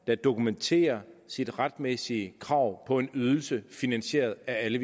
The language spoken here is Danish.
der dokumenterer sit retmæssige krav på en ydelse finansieret af alle